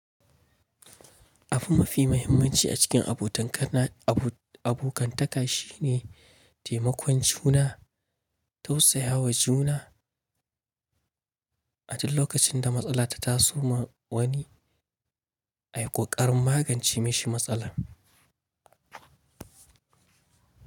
Abu mafi mahimmanci a cikin abotankana abu abokantaka shine taimakon juna, tausayawa juna, a duk lokacin da matsala ta taso ma wani, ai ƙoƙarin magance mishi matsalar.